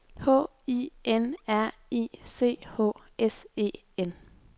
H I N R I C H S E N